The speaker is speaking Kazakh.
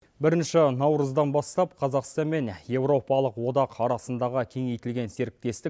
бірінші наурыздан бастап қазақстан мен европалық одақ арасындағы кеңейтілген серіктестік